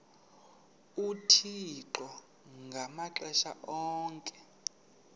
uthixo ngamaxesha onke